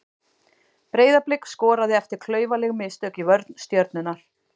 Breiðablik skoraði eftir klaufaleg mistök í vörn Stjörnunnar.